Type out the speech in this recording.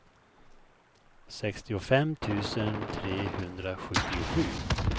sextiofem tusen trehundrasjuttiosju